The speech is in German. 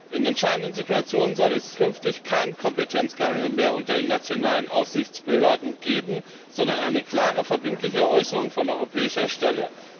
In entscheidenden Situationen soll es künftig kein Kompetenzgerangel mehr unter den nationalen Aufsichtsbehörden geben, sondern eine klare, verbindliche Äußerung von europäischer Stelle.